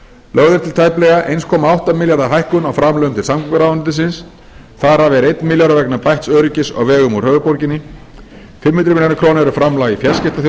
lögð er til tæplega eitt komma átta milljarða hækkun á framlögum til samgönguráðuneytisins þar af er einn milljarður vegna bætts öryggis á vegum úr höfuðborginni fimm hundruð milljóna króna eru framlag í